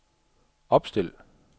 opstil